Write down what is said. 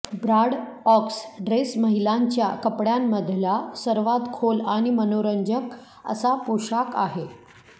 Bordeaux dress महिलांच्या कपड्यांमधला सर्वात खोल आणि मनोरंजक असा पोशाख आहे